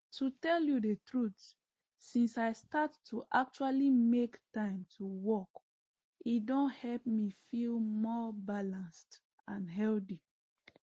to tell you the truth since i start to actually make time to walk e don help me feel more balanced and healthy